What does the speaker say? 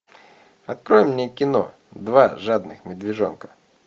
открой мне кино два жадных медвежонка